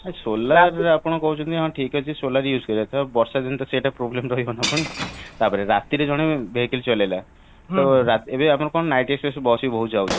solar ଆପଣ କହୁଛନ୍ତି ଠିକ ଅଛି solar use କରିବା ତ ବର୍ଷା ଦିନଟା ସେଇଟା problem ରହିବ ଆମର ଟପାରେ ରାତିରେ ଜଣେ vehicle ଚଳେଇଲା ଏବେ ଆମର କଣ night ବସ ଆମର ବହୁତ ଯାଉଛି